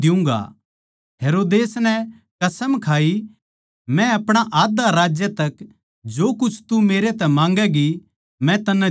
हेरोदेस नै कसम खाई मै अपणा आध्धा राज्य ताहीं जो कुछ तू मेरै तै माँगैगी मै तन्नै दियुँगा